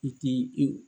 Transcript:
I ti i